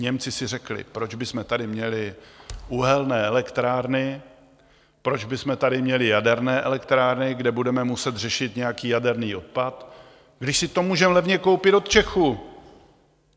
Němci si řekli: Proč bychom tady měli uhelné elektrárny, proč bychom tady měli jaderné elektrárny, kde budeme muset řešit nějaký jaderný odpad, když si to můžeme levně koupit od Čechů?